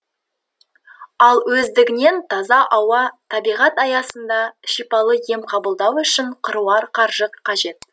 ал өздігінен таза ауа табиғат аясында шипалы ем қабылдау үшін қыруар қаржы қажет